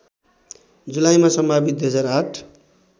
जुलाईमा सम्भावित २००८